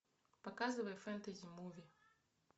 показывай фэнтези муви